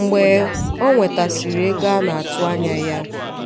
mgbe ọ nwetasiri ego a na-atụ anya ya